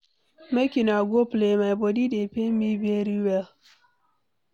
Make una go play, my body dey pain me very well.